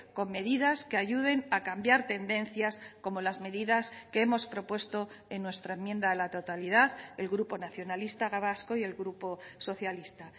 con medidas que ayuden a cambiar tendencias como las medidas que hemos propuesto en nuestra enmienda a la totalidad el grupo nacionalista vasco y el grupo socialista